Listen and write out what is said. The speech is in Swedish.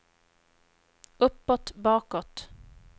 uppåt bakåt